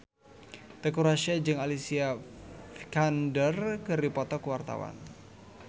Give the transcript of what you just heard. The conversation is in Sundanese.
Teuku Rassya jeung Alicia Vikander keur dipoto ku wartawan